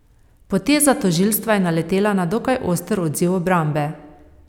Poteza tožilstva je naletela na dokaj oster odziv obrambe.